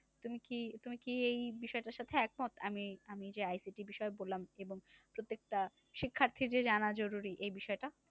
তুমি কি তুমি কি এই বিষয়টার সাথে একমত? আমি আমি যে ICT বিষয়ে বললাম এবং প্রত্যেকটা শিক্ষার্থীর যে জানা জরুরী এই বিষয়টা?